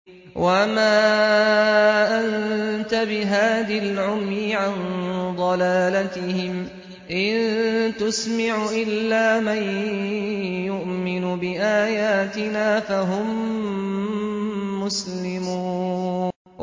وَمَا أَنتَ بِهَادِي الْعُمْيِ عَن ضَلَالَتِهِمْ ۖ إِن تُسْمِعُ إِلَّا مَن يُؤْمِنُ بِآيَاتِنَا فَهُم مُّسْلِمُونَ